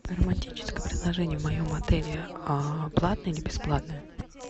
романтическое предложение в моем отеле платное или бесплатное